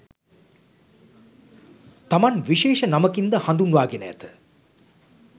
තමන් විශේෂ නමකින් ද හඳුන්වා ගෙන ඇත